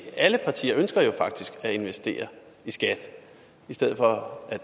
alle partier ønsker jo faktisk at investere i skat i stedet for at